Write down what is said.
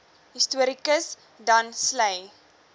historikus dan sleigh